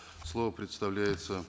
слово предоставляется